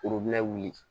wuli